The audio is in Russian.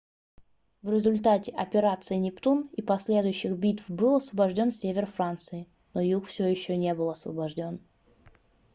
в результате операции нептун и последующих битв был освобождён север франции но юг всё ещё не был освобождён